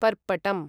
पर्पटम्